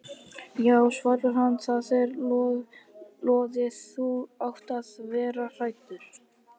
Já svarar hann, það er lóðið, þú átt að vera hræddur.